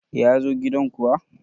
ya zo gidan kuwa!